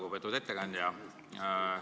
Lugupeetud ettekandja!